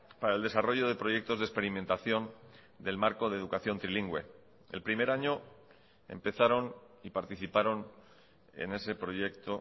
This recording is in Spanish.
para el desarrollo de proyectos de experimentación del marco de educación trilingüe el primer año empezaron y participaron en ese proyecto